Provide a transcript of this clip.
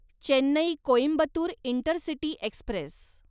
Chennai Coimbatore intercity Express